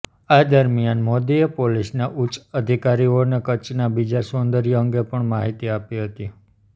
આ દરમિયાન મોદીએ પોલીસના ઉચ્ચ અધિકારીઓને કચ્છના બીજા સૌદર્ય અંગે પણ માહિતી આપી હતી